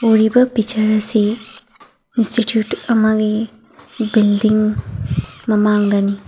ꯎꯔꯤꯕ ꯄꯤꯛꯆ꯭ꯔ ꯑꯁꯤ ꯢꯟꯁ꯭ꯇꯤꯇ꯭ꯌꯨꯠ ꯑꯃꯒꯤ ꯕꯤꯜꯗꯤꯡ ꯃꯃꯡꯗꯅꯤ꯫